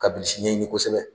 Ka bilisi ɲɛɲini kosɛbɛ